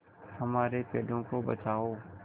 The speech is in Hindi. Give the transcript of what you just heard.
हमारे पेड़ों को बचाओ